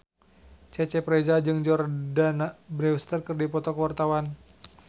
Cecep Reza jeung Jordana Brewster keur dipoto ku wartawan